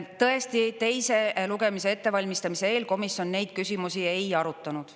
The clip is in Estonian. Tõesti, teise lugemise ettevalmistamise eel komisjon neid küsimusi ei arutanud.